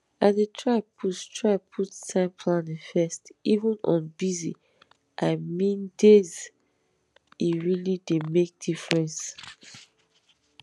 i dey try put try put time planning first even on busyi meandayse really dey make difference